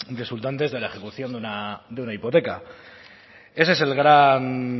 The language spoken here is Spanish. resultantes de la ejecución de una hipoteca ese es el gran